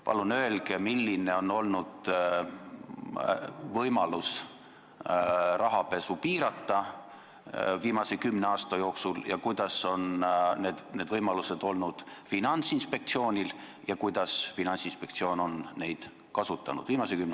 Palun öelge, milline on olnud viimase kümne aasta jooksul Finantsinspektsiooni võimalus rahapesu piirata ja kuidas Finantsinspektsioon on seda kasutanud!